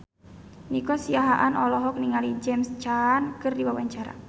Nico Siahaan olohok ningali James Caan keur diwawancara